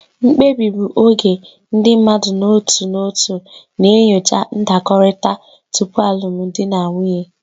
Mkpebi bụ oge ndị mmadụ n'otu n'otu na-enyocha ndakọrịta tupu alụmdi na nwunye.